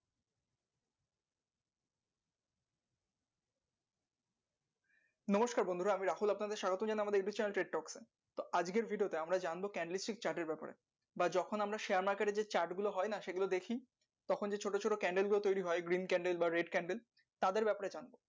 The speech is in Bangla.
নমস্কার বন্ধুরা আমি রাহুল আপনাদের স্বাগতম জানাই youtube channel trek truck আজকে video তে আমরা জানবো can receive chat এর ব্যাপারে বা যখন আমরা share market এ যে chat গুলো হয় না সেগুলো দেখি তখন যে ছোট ছোট candle গুলো তৈরী হয় green candle বা red candle তাদের ব্যাপারে জানবো।